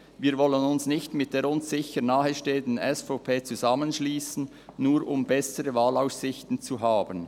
Wir wollten uns nicht mit der uns sicher nahestehenden SVP zusammenschliessen, nur um bessere Wahlaussichten zu haben.